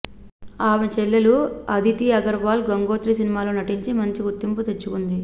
ఆమె చెల్లెలు అదితి అగర్వాల్ గంగోత్రి సినిమాలో నటించి మంచి గుర్తింపు తెచ్చుకుంది